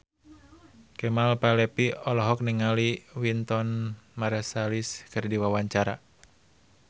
Kemal Palevi olohok ningali Wynton Marsalis keur diwawancara